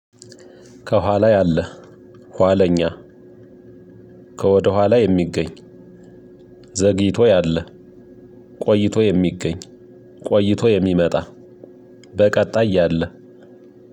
ከኋላ ያለ ኋለኛ ከወደኋላ የሚገኝ ዘግይቶ ያለ ቆይቶ የሚገኝ ቆይቶ የሚመጣ በቀጣይ ያለ